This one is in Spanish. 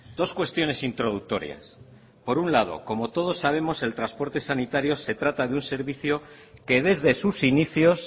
dos cuestiones introductorias por un lado como todos sabemos el transporte sanitario se trata de un servicio que desde sus inicios